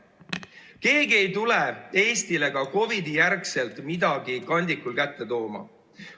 Ka COVID-i järel ei tule keegi Eestile midagi kandikul kätte tooma.